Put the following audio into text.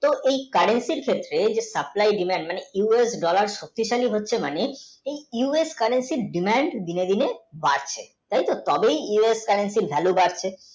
এই current এর ক্ষেত্রে supply, demand মানে currency এর demand ধীরে ধীরে বাড়ছে তাই তো তবে currency এর value বাড়ছে